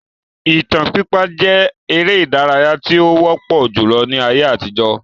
Ìtàn pípa jẹ èrè ìdárayá tí ó wọpọ julọ ní ayé àtijó